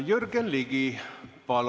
Jürgen Ligi, palun!